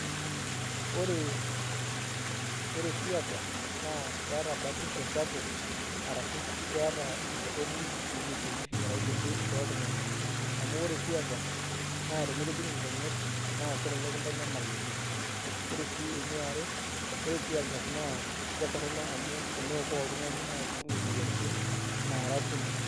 Ore tear gas naa keeta batisho sapuk arashu keeta entorroni tenkishui arashu te biotisho oltung'ani amu ore tear gas naa tenikijing' nkonyek naa kelelek kintanyamal oleng' ore sii eniare ore tear gas naa ketorrono amu eneokoo oltung'ani naa kibung'ie imoyiaritin naara kumok.